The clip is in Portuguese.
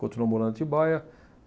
Continuou morando em Atibaia.